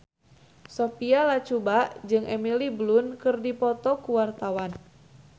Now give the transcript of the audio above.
Sophia Latjuba jeung Emily Blunt keur dipoto ku wartawan